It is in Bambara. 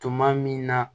Tuma min na